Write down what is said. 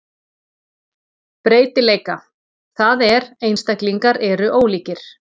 Breytileika, það er einstaklingar eru ólíkir.